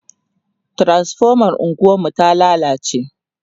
transifomar unguwar mu ta lallace